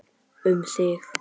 Um þig.